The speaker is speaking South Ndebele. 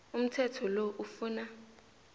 umthetho lo ufuna